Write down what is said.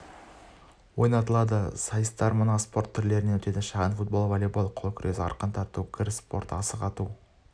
ойнатылады сайыстар мына спорт түрлерінен өтеді шағын-футбол волейбол қол күрес арқан тарту гір спорты асық-ату